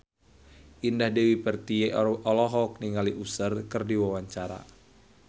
Indah Dewi Pertiwi olohok ningali Usher keur diwawancara